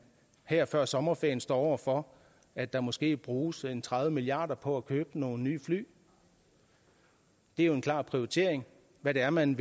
her før sommerferien står over for at der måske bruges tredive milliard kroner på at købe nogle nye fly det er jo en klar prioritering hvad det er man